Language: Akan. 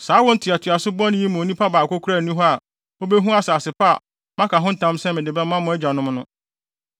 “Saa awo ntoatoaso bɔne yi mu onipa baako koraa nni hɔ a obehu asase pa a, maka ho ntam sɛ mede bɛma mo agyanom no,